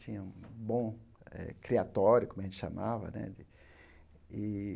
Tinha um bom eh criatório, como a gente chamava né de ih.